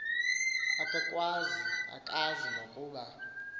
akakwazi akazi nokuba